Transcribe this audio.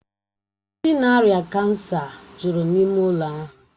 Ndị ná-ária kansa jụrụ n'ịme ụlọ ahụ